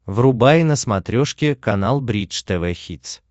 врубай на смотрешке канал бридж тв хитс